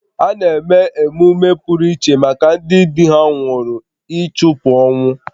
A na-eme emume pụrụ iche maka ndị di ha nwụrụ ịchụpụ ọnwụ